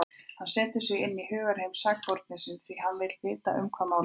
Hann setur sig inn í hugarheim sakborningsins, því hann vill vita um hvað málið snýst.